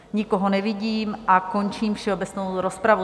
Nikoho nevidím a končím všeobecnou rozpravu.